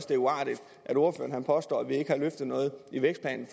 det er uartigt at ordføreren påstår at vi ikke har løftet noget i vækstplan